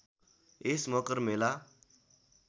यस मकर मेला